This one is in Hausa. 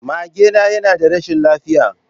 Magena yana ta rashin lafiya.